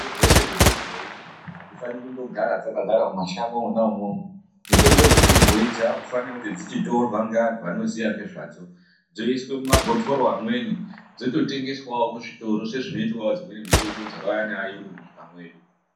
Mitombo dzeshe dzechibhoi hadzifaniri kundogara dzakagara mumashango mwona imwomwo. Mitombo dzechibhoi dzakufanira kuti dzichitorwa ngeantu anoziya ngezvadzo dzoiswe mumabhotoro amweni dzototengeswavo muzvitoro sezvinotwavo dzimweni mitombo dzakauya naayungu munyika mwedu.